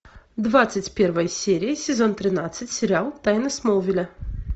двадцать первая серия сезон тринадцать сериал тайны смолвиля